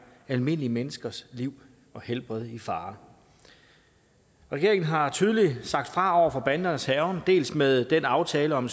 almindelige menneskers liv og helbred i fare regeringen har tydeligt sagt fra over for bandernes hærgen dels med den aftale om